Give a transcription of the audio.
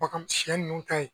Wa kamu shiɛ nunnu ka yen.